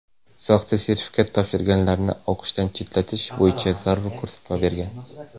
soxta sertifikat topshirganlarni o‘qishdan chetlatish bo‘yicha zarur ko‘rsatma bergan.